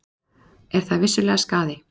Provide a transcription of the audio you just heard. Er það vissulega skaði.